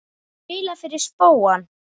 Þú hefur spilað fyrir spóann?